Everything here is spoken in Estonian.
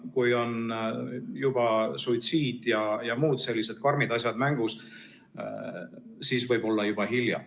Kui on juba suitsiid ja muud sellised karmid asjad mängus, siis võib olla juba hilja.